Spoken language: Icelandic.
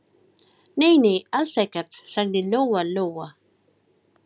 Nei, nei, alls ekkert, sagði Lóa-Lóa.